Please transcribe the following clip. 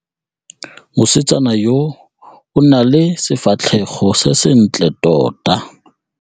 Mosetsana yo o na le sefatlhego se sentle tota.